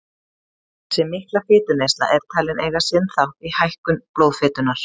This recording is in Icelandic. Þessi mikla fituneysla er talin eiga sinn þátt í hækkun blóðfitunnar.